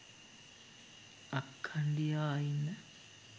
අක්කණ්ඩී ආ ඉන්න